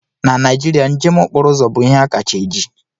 Na Naijiria, njem okporo ụzọ bụ ihe kacha eji.